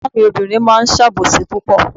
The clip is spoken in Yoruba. Ègbón mi obìnrin máa ń sàbòsí púpọ̀